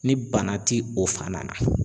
Ni bana ti o fan na.